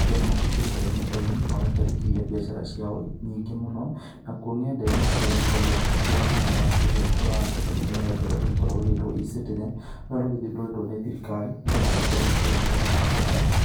andũ nĩ makĩingĩrĩte nenda-inĩ magakĩandĩkithia mbiacara ciao nyingĩ mũno ,nakũo nenda-inĩ andũ nĩ makoragwo makĩingĩra thĩinĩ wa rũrenda rũrĩa rũkoragwo rũgĩtwo E-Citizen rũrĩa rũgĩthundũrĩtwo nĩ thirikari nĩgetha makorwo makĩamũkĩra motungata ta maya.